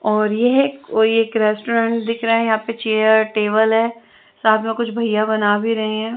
और ये है कोई एक रेस्टोरेंट दिख रहा है यहां पे चेयर टेबल है साथ में कुछ भैया बना भी रही हैं।